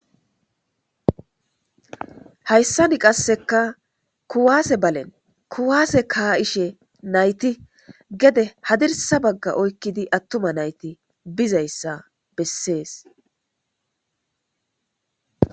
Hayssan qassekka kuwasse ballen kuwasse ka'shshe nayththe gedde hadirssa baga oykkid aththuma nayththi bizayssa beesess.